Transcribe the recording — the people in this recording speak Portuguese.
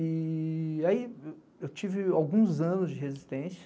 E aí eu tive alguns anos de resistência.